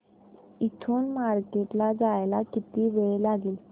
इथून मार्केट ला जायला किती वेळ लागेल